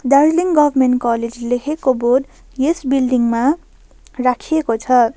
Darjeeling government college लेखेको board यस building मा राखेको छ।